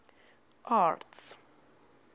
arts